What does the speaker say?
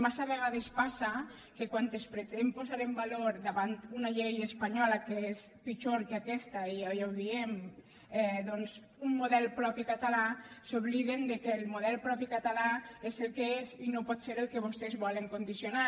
massa vegades passa que quan es pretén posar en valor davant una llei espanyola que és pitjor que aquesta i ja ho diem doncs un model propi català s’obliden que el model propi català és el que és i no pot ser el que vostès volen condicionar